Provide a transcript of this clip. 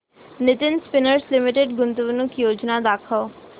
Nitin spinners limited गुंतवणूक योजना दाखव